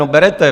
No berete.